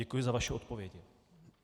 Děkuji za vaše odpovědi.